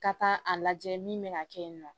Ka taa a lajɛ min bɛna kɛ yen nɔ